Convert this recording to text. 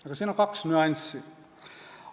Aga siin on kaks nüanssi.